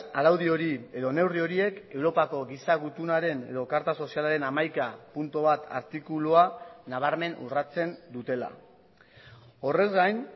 araudi hori edo neurri horiek europako giza gutunaren edo karta sozialaren hamaika puntu bat artikulua nabarmen urratzen dutela horrez gain